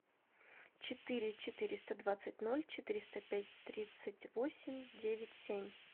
четыре четыреста двадцать ноль четыреста пять тридцать восемь девять семь